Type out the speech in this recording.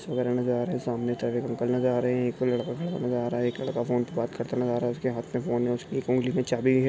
सामने एक अंकल नजर आ रहे है एक लड़का खड़ा नजर आ रहा है एक लड़का फोन पे बात करता नजर आ रहा है उसके हात में फोन है उसकी एक उंगली में चाबी है।